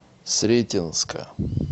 сретенска